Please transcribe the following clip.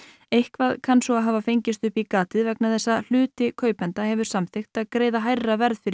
eitthvað kann svo að hafa fengist upp í gatið vegna þess að hluti kaupenda hefur samþykkt að greiða hærra verð fyrir